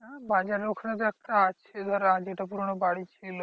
হ্যাঁ বাজারের ওখানে তো একটা আছে ধর আগে পুরোনো বাড়ি ছিল।